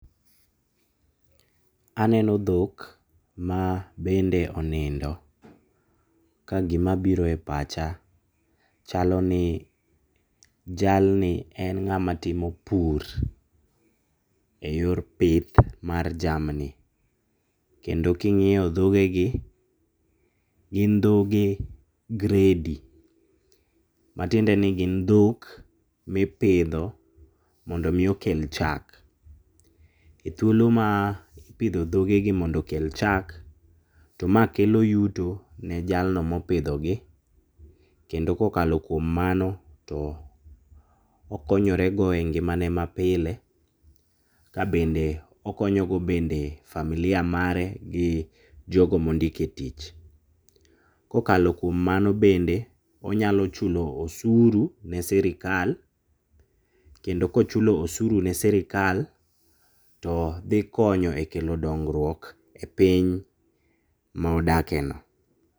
Aneno dhok ma bende onindo. Ka gima biro e pacha, chalo ni, jalni en ng'ama timo pur e yor pith mar jamni. Kendo ka ing'iyo dhoge gi, gin dhoge grade matiende ni gi dhok mipidho mondo mi okel chak. E thuolo ma ipidho dhoge gi mondo okel chak, to ma kelo yuto ne jalno ma opidho gi. Kendo ka okalo kuom mano to okonyore go engimane ma pile. Ka bende okonyogo bende familia mare, gi jogo ma ondiko e tich. Kokalo kuom mano bende, onyalo chulo osuru ne sirkal to dhi konyo e kelo dongruok e piny ma odake no.